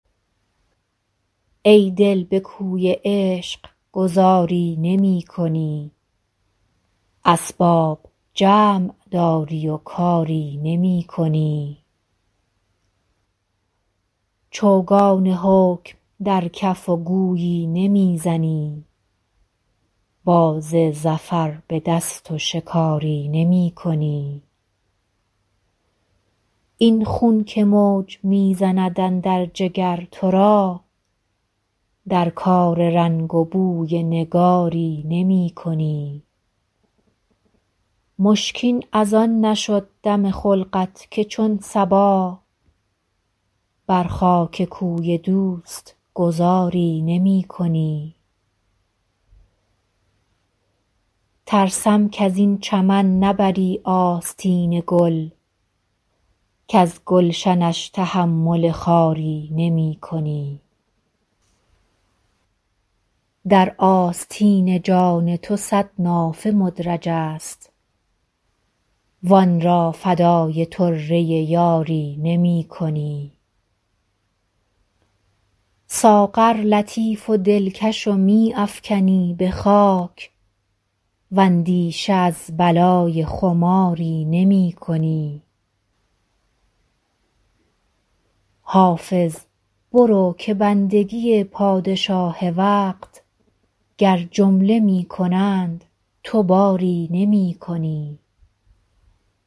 ای دل به کوی عشق گذاری نمی کنی اسباب جمع داری و کاری نمی کنی چوگان حکم در کف و گویی نمی زنی باز ظفر به دست و شکاری نمی کنی این خون که موج می زند اندر جگر تو را در کار رنگ و بوی نگاری نمی کنی مشکین از آن نشد دم خلقت که چون صبا بر خاک کوی دوست گذاری نمی کنی ترسم کز این چمن نبری آستین گل کز گلشنش تحمل خاری نمی کنی در آستین جان تو صد نافه مدرج است وآن را فدای طره یاری نمی کنی ساغر لطیف و دلکش و می افکنی به خاک واندیشه از بلای خماری نمی کنی حافظ برو که بندگی پادشاه وقت گر جمله می کنند تو باری نمی کنی